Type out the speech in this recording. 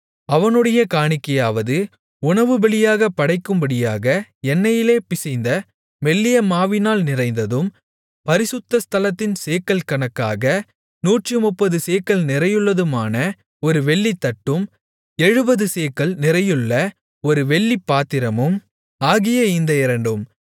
அவனுடைய காணிக்கையாவது உணவுபலியாகப் படைக்கும்படியாக எண்ணெயிலே பிசைந்த மெல்லிய மாவினால் நிறைந்ததும் பரிசுத்த ஸ்தலத்தின் சேக்கல் கணக்காக நூற்றுமுப்பது சேக்கல் நிறையுள்ளதுமான ஒரு வெள்ளித்தட்டும் எழுபது சேக்கல் நிறையுள்ள ஒரு வெள்ளிப்பாத்திரமும் ஆகிய இந்த இரண்டும்